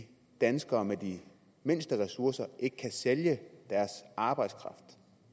at danskere med de mindste ressourcer ikke kan sælge deres arbejdskraft